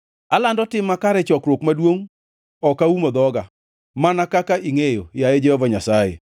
Alando tim makare e chokruok maduongʼ; ok aumo dhoga, mana kaka ingʼeyo, yaye Jehova Nyasaye.